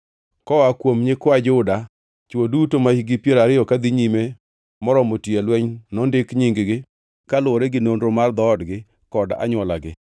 Koa kum nyikwa Juda: Chwo duto mahikgi piero ariyo kadhi nyime moromo tiyo e lweny nondik nying-gi, kaluwore gi nonro mar dhoodgi kod anywolagi.